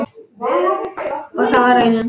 Og það var raunin.